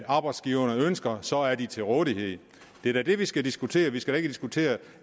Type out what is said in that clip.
arbejdsgiverne ønsker så er de til rådighed det er da det vi skal diskutere vi skal diskutere